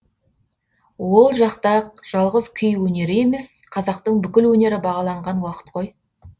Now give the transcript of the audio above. ол жақта жалғыз күй өнері емес қазақтың бүкіл өнері бағаланған уақыт қой